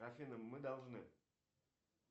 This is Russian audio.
афина мы должны